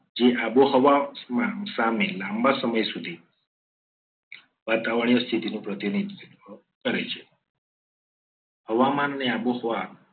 જે આબોહવાસા મેં લાંબા સમય સુધી વાતાવરણીય સ્થિતિનું પ્રતિનિધિત્વ કરે છે. હવામાન અને આબોહવા